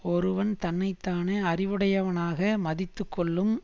ஒருவன் தன்னை தானே அறிவுடையவனாக மதித்து கொள்ளும்